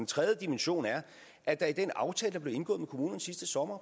tredje dimension er at der i den aftale der blev indgået med kommunerne sidste sommer